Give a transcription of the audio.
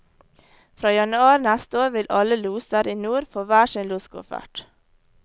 Fra januar neste år vil alle loser i nord få hver sin loskoffert.